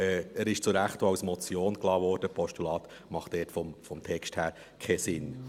Er wurde zu Recht auch als Motion stehengelassen, ein Postulat macht dort vom Text her keinen Sinn.